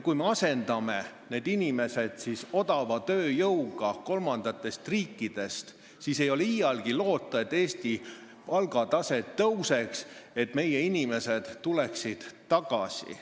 Kui me asendame need inimesed odava tööjõuga kolmandatest riikidest, siis ei ole iialgi loota, et Eestis palgatase tõuseks ja meie inimesed tuleksid tagasi.